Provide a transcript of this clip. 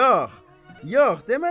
Yox, yox, demərəm.